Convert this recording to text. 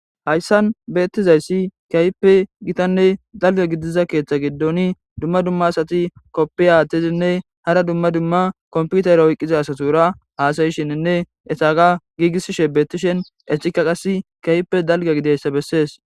Hayssan beettizayssi kiayppe gitanne dalga gidiza keeththa giddoni dumma dumma asati koppi aathtizinne hara dumma dumma komputara hoyqqiza asatura haasayishininne etaga giigisishe beettishen ecika qasi kayppe dalga gideyssa bessees.